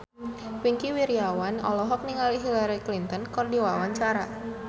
Wingky Wiryawan olohok ningali Hillary Clinton keur diwawancara